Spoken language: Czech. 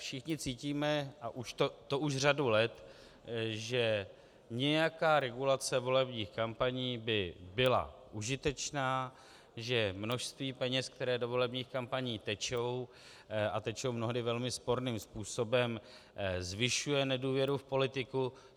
Všichni cítíme, a to už řadu let, že nějaká regulace volebních kampaní by byla užitečná, že množství peněz, které do volebních kampaní tečou, a tečou mnohdy velmi sporným způsobem, zvyšuje nedůvěru v politiku.